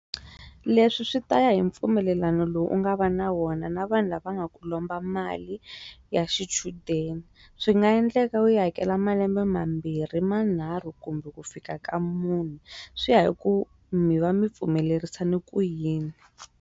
Leswi swi ta ya hi mpfumelelano lowu u nga va na wona na vanhu lava nga ku lomba mali ya xichudeni swi nga endleka u yi hakela malembe mambirhi manharhu kumbe ku fika ka mune swi ya hi ku mi va mi pfumelerisane ku yini.